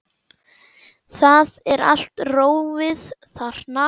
Það er allt rófið þarna.